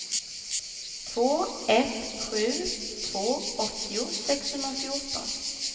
två ett sju två åttio sexhundrafjorton